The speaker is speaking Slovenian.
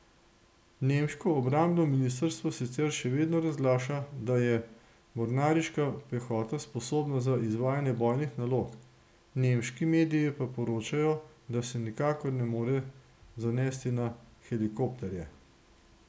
Nemško obrambno ministrstvo sicer še vedno razglaša, da je mornariška pehota sposobna za izvajanje bojnih nalog, nemški mediji pa poročajo, da se nikakor ne more zanesti na helikopterje.